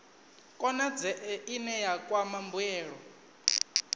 konadzee ine ya kwama mbuelo